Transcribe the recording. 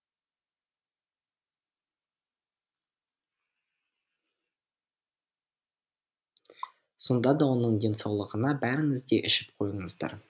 сонда да оның денсаулығына бәріңіз де ішіп қойыңыздар